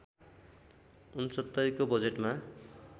६९ को बजेटमा